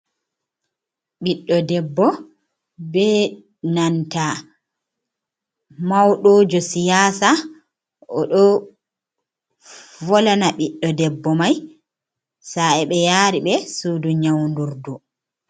Ɓiɗdo debbo be nanta mauɗo jo siyasa oɗo volana ɓiɗɗo debbo mai sa e ɓe yari ɓe sudu nyaun dur du.